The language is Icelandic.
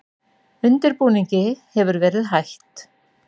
Undirbúningi hefur verið hætt